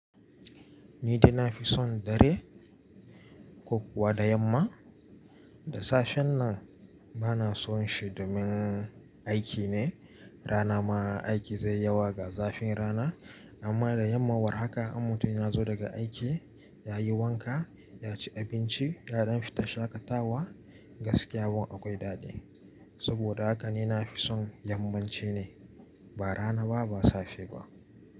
Ni dai na fi son dare, ko kuwa da yamma, da safen nan ba na son shi domin aiki ne, Rana ma aiki zai yawa ga zafin rana. Amma da yamma war haka, in mutum, ya zo daga aiki, ya yi wanka, ya ci abinci, yaɗan fita shaƙatawa, gaskiya wa akwai daɗi. Saboda haka ni na fi son yammanci ne, ba rana ba, ba safe ba.